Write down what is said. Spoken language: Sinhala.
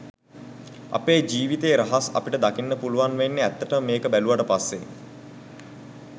අපේ ජීවිතයේ රහස් අපිට දකින්න පුළුවන් වෙන්නෙ ඇත්තටම මේක බැලුවට පස්සෙයි